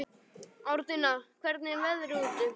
Árnína, hvernig er veðrið úti?